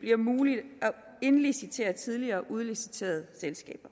bliver muligt at indlicitere tidligere udliciterede selskaber